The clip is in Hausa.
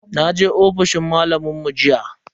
Naje ofishin malamin mu jiya.